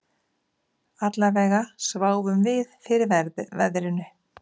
Allavega sváfum við fyrir veðrinu